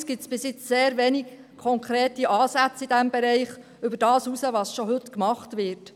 Allerdings gibt es bis jetzt sehr wenige konkrete Ansätze in diesem Bereich, die über das hinausgehen, was bereits heute getan wird.